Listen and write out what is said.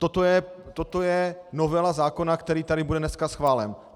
Toto je novela zákona, který tady bude dneska schválen.